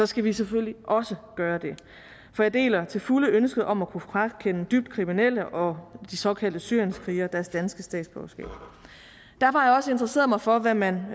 skal vi selvfølgelig også gøre det for jeg deler til fulde ønsket om at kunne frakende dybt kriminelle og de såkaldte syrienskrigere deres danske statsborgerskab derfor har jeg også interesseret mig for hvad man